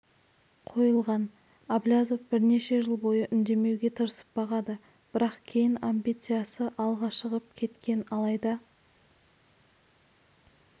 қойылған әблязов бірнеше жыл бойы үндемеуге тырысып бағады бірақ кейін амбициясы алға шығып кеткен алайда